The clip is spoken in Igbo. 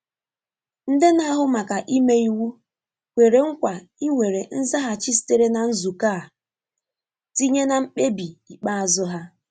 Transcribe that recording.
Nde na ahụ maka ime iwu kwere nkwa iwere nzaghachi sitere na nzukọ a tinye na mkpebi ikpeazụ ha.